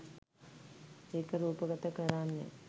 ඒක රූපගත කරන්නේ